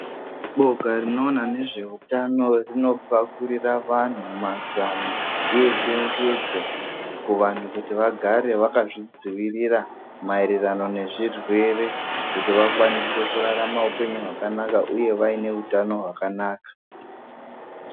Boka rinoona nezveutano rinopakurira vanhu mazano echenjedzo kuvanhu kuti vagare vakazvidzivirira maererano nezvirwere kuti vakwanise kurarama upenyu hwakanaka uye vaine utano hwakanaka.